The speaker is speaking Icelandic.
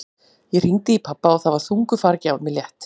Ég hringdi í pabba og það var þungu fargi af mér létt.